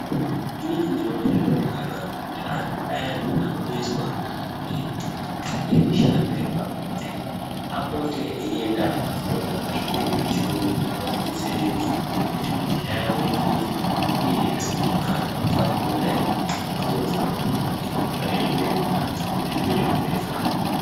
Inini ndinoone zviro zvakanaka kuti antu ayani anoneswa nemishando yepabonde apote eyienda kotsvaka zvimweni zvechirungu zvinoadetseredza, kuti misha yawo imire uyezve kuti antu asazopota eibuda mumbatso dzawo eimbotsvake zvimweni kubanze ngekuti zvine zvirwere mukati.